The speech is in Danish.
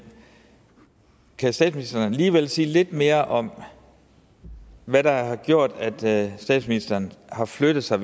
kan statsministeren alligevel sige lidt mere om hvad der har gjort at statsministeren har flyttet sig